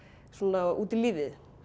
svona út í lífið